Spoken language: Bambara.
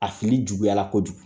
A fini juguyala kojugu